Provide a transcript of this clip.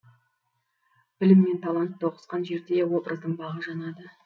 білім мен талант тоғысқан жерде образдың бағы жанады